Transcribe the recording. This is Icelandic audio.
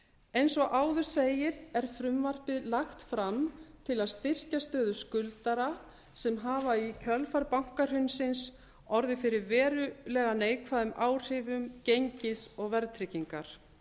eins og áður segir er frumvarpið lagt fram til að styrkja stöðu skuldara sem hafa í kjölfar bankahrunsins orðið fyrir verulega neikvæðum áhrifum gengis og verðtryggingar